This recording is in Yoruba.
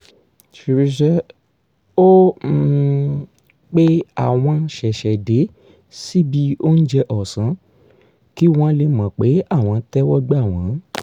ó um pe àwọn ṣẹ̀ṣẹ̀dé síbi óúnjẹ ọ̀sán kí wọ́n lè mọ̀ pé àwọn tẹ́wọ́ gbà wọ́n